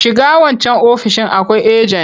Shiga wancan ofoishin akwai ajen!